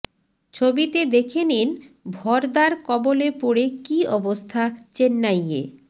ছবিতে দেখে নিন ভরদার কবলে পড়ে কী অবস্থা চেন্নাইয়ে